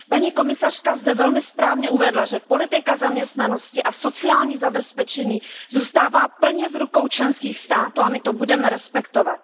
Paní komisařka zde velmi správně uvedla, že politika zaměstnanosti a sociální zabezpečení zůstává plně v rukou členských států, a my to budeme respektovat.